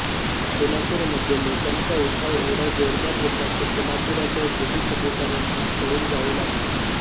सोलापूर मध्ये लोकांचा उठाव एवढा जोरदार होता की सोलापुरातील ब्रिटिश अधिकायांना पळून जावे लागले